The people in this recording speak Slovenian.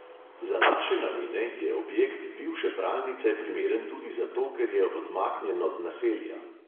Za naše namene je objekt bivše pralnice primeren tudi zato, ker je odmaknjen od naselja.